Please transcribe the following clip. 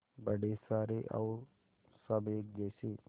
बड़े सारे और सब एक जैसे